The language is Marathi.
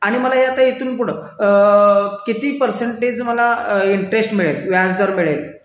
आणि आता मला इथून पुढे किती परसेंटेज मला इंटरेस्ट मिळेल व्याजदर मिळेल